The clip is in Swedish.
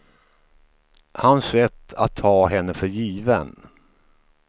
Hans sätt att ta henne för given.